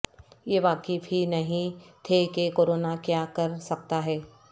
یہ واقف ہی نہیں تھے کہ کورونا کیا کر سکتا ہے